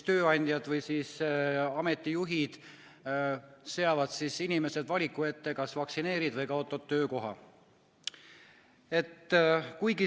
Tööandjad seavad inimesed valiku ette: kas vaktsineerid või kaotad töökoha.